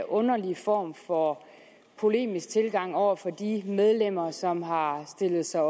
underlig form for polemisk tilgang over for de medlemmer som har stillet sig